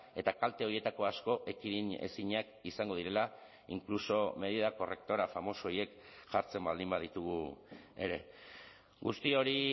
eta kalte horietako asko ekidin ezinak izango direla inkluso medida correctora famoso horiek jartzen baldin baditugu ere guzti hori